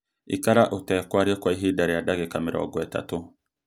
ikara ũtekwaria kwa ihinda rĩa ndagĩka mĩrongo ĩtatũ